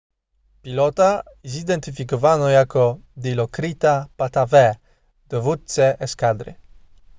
pilota zidentyfikowano jako dilokrita pattavee dowódcę eskadry